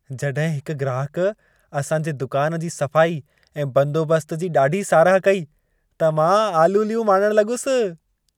जॾहिं हिक ग्राहकु असांजे दुकान जी सफ़ाई ऐं बंदोबस्त जी ॾाढी साराह कई त मां आलूलियूं माणणु लॻुसि।